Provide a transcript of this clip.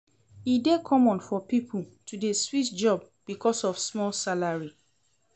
E dey common for pipo to dey switch job because of small salary.